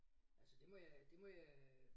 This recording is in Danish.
Altså det må jeg det må jeg